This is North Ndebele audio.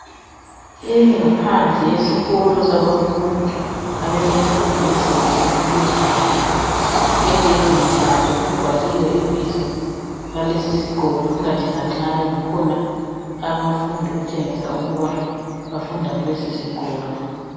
Ingaphandle yesikolo sabafundi abemfundo yezinga eliphezulu. Egedini laso kubhaliwe ibizo lalesisikolo ingathi nganxanye kukhona abafundi okutshengisa ukuba bafunda kulesisikolo.